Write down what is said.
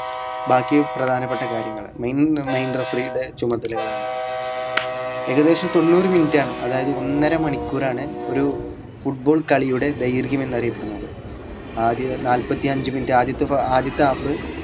ബാക്കി പ്രധാനപ്പെട്ട കാര്യങ്ങൾ mainlymain referee ടെ ചുമതലകളാണ് ഏകദേശം തൊണ്ണൂറ് minute ആണ് അതായത് ഒന്നരമണിക്കൂറാണ് ഒരു football കളിയുടെ ദൈർഘ്യം എന്നറിയപ്പെടുന്നത് ആദ്യം നാല്പത്തി അഞ്ച് minute ആദ്യത്തെ ആദ്യത്തെ half